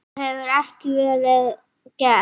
Það hafi ekki verið gert.